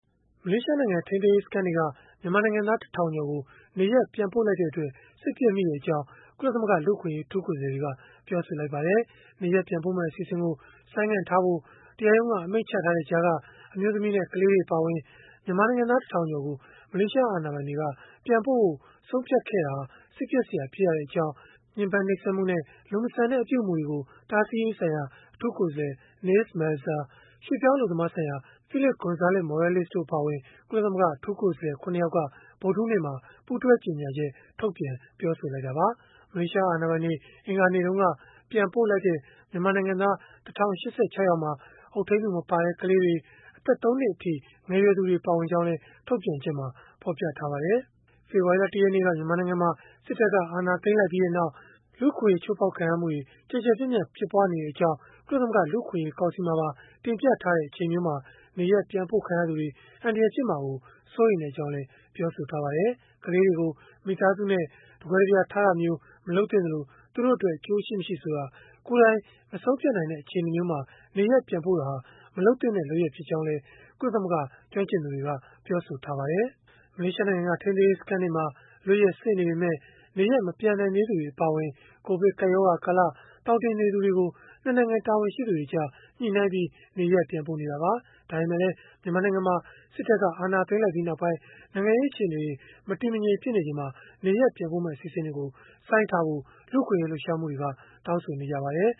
မလေးရှားနိုင်ငံ ထိန်းသိမ်းရေးစခန်းတွေက မြန်မာနိုင်ငံသား ၁ ထောင်ကျော်ကို နေရပ်ပြန်ပို့လိုက်တဲ့အတွက် စိတ်ပျက်မိကြောင်း ကုလသမဂ္ဂ လူ့အခွင့်အရေး အထူးကိုယ်စားလှယ်တွေ ပြောဆိုလိုက်ပါတယ်။ နေရပ်ပြန်ပို့မယ့် အစီအစဉ်ကို ဆိုင်းငံ့ထားဖို့ တရားရုံးက အမိန့်ချထားတဲ့ကြားက အမျိုးသမီးနဲ့ ကလေးတွေ အပါအဝင် မြန်မာနိုင်ငံသား ၁ ထောင်ကျော်ကို မလေးရှား အာဏာပိုင်တွေက ပြန်ပို့ဖို့ ဆုံးဖြတ်ခဲ့တာဟာ စိတ်ပျက်စရာ ဖြစ်ရကြောင်း ညှဉ်းပမ်းနှိပ်စက်မှု၊ လူမဆန်တဲ့ လုပ်ရပ်မှုတွေ တားဆီးရေးဆိုင်ရာ အထူးကိုယ်စားလှယ် Nils Melzer ရွှေ့ပြောင်းအလုပ်သမားဆိုင်ရာ အထူးကိုယ်စားလှယ် Felipe González Morales တို့ အပါအဝင် ကုလသမဂ္ဂ အထူးကိုယ်စားလှယ် ၇ ယောက်က ဗုဒ္ဓဟူးနေ့မှာ ပူးတွဲကြေညာချက် ထုတ်ပြန် ပြောဆိုခဲ့တာပါ။ မလေးရှား အာဏာပိုင်တွေ အင်္ဂါနေ့က ပြန်ပို့လိုက်တဲ့ မြန်မာနိုင်ငံသား ၁၀၈၆ ယောက်မှာ အုပ်ထိန်းသူ မပါတဲ့ ကလေးတွေ၊ အသက် ၃ နှစ်အထိ ငယ်ရွယ်သူတွေ ပါဝင်ကြောင်းလည်း ထုတ်ပြန်ချက်မှာ ဖော်ပြထားပါတယ်။ ဖေဖော်ဝါရီလ ၁ ရက်နေ့က မြန်မာနိုင်ငံမှာ စစ်တပ်က အာဏာသိမ်းလိုက်ပြီးနောက် အခြေခံလူ့အခွင့်အရေး ချိုးဖောက်ခံရမှုတွေ ကျယ်ကျယ်ပြန့်ပြန့် ဖြစ်ပွားနေကြောင်း ကုလသမဂ္ဂ လူ့အခွင့်အရေး ကောင်စီမှာပါ တင်ပြထားတဲ့ အချိန်မျိုးမှာ နေရပ်ပြန်ပို့ခံရသူတွေ အန္တရာယ်ဖြစ်မှာ စိုးရိမ်ကြောင်းလည်း ပြောပါတယ်။ ကလေးတွေကို မိသားစုနဲ့ တကွဲတပြားထားတာမျိုး မလုပ်သင့်သလို၊ သူတို့အတွက် အကျိုးရှိမရှိ ဆိုတာကို ကိုယ်တိုင် မဆုံးဖြတ်နိုင်တဲ့ အခြေအနေမျိုးမှာ နေရပ်ပြန်ပို့တာဟာ မလုပ်သင့်တဲ့ လုပ်ရပ်ဖြစ်ကြောင်းလည်း ကုလသမဂ္ဂ ကျွမ်းကျင်သူတွေက ပြောဆိုထားကြပါတယ်။ မလေးရှားနိုင်ငံက ထိန်းသိမ်းရေး စခန်းတွေမှာ လွတ်ရက်စေ့နေပေမဲ့ နေရပ်မပြန်နိုင်သေးသူတွေ အပါအဝင် ကိုဗစ်ကပ်ရောဂါကာလ သောင်တင်နေသူတွေကို ၂ နိုင်ငံ တာဝန်ရှိသူတွေကြား ညှိနှိုင်းပြီး နေရပ်ပြန်ပို့နေတာပါ။ ဒါပေမဲ့လည်း မြန်မာနိုင်ငံမှာ စစ်တပ်က အာဏာသိမ်းလိုက်ပြီးနောက် နိုင်ငံရေး အခြေအနေတွေ မတည်မငြိမ် ဖြစ်နေချိန်မှာ နေရပ်ပြန်ပို့မယ့် အစီအစဉ်တွေကို ဆိုင်းထားဖို့ လူ့အခွင့်အရေး လှုပ်ရှားမှုအဖွဲ့တွေကလည်း တောင်းဆိုနေကြပါတယ်